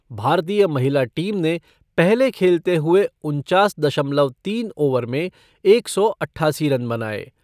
भारतीय महिला टीम ने पहले खेलते हुये उन्चास दशमलव तीन ओवर में एक सौ अट्ठासी रन बनाए।